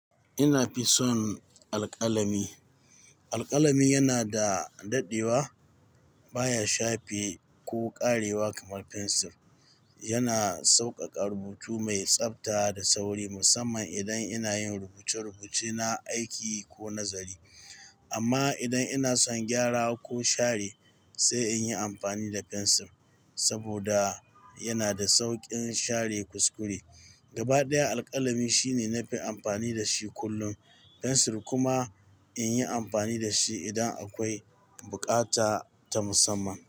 Ina fi son alƙalami. Alƙalami yana da daɗewa, baya shafe ko ƙarewa kamar fensir. Yana sauƙaƙa rubutu mai tsabta da sauri, musamman idan ina yin rubuce-rubuce na aiki ko nazari. Amma idan ina son gyara ko share, sai in yi amfani da fensir saboda yana da sauƙin share kuskure. Gaba ɗaya, alƙalami shine na fi amfani da shi kullum, fensir kuma in yi amfani da shi idan akwai buƙata ta musamman.